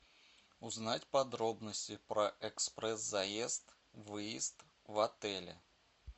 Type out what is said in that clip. узнать подробности про экспресс заезд выезд в отеле